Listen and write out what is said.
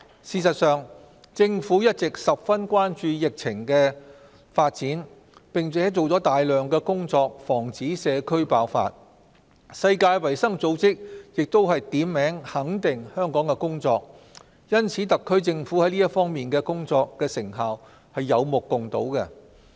事實上，政府一直十分關注疫情發展，並做了大量工作防止社區爆發，世界衞生組織亦都點名肯定香港的工作，因此特區政府這方面的工作成效是有目共睹的。